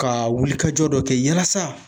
Ka wulikajɔ dɔ kɛ yalasa